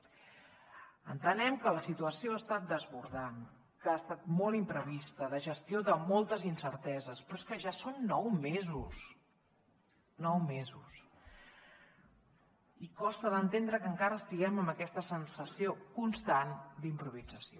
entenem que la situació ha estat desbordant que ha estat molt imprevista de gestió de moltes incerteses però és que ja són nou mesos nou mesos i costa d’entendre que encara estiguem amb aquesta sensació constant d’improvisació